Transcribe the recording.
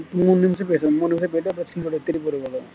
மூணு நிமிஷம் பேசணும் மூணு நிமிஷம் போய்ட்டா அப்புறம் திருப்பி ஒரு கதை